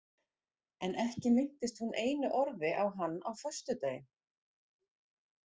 En ekki minntist hún einu orði á hann á föstudaginn.